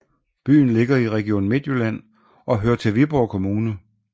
Byen ligger i Region Midtjylland og hører til Viborg Kommune